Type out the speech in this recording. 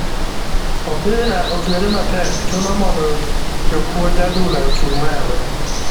Opira otwere matek chuno mondo jopunj adhula ochung' malo.